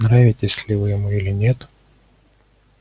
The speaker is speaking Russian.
нравитесь ли вы ему или нет